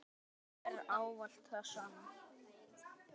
Lífið er ávallt það sama.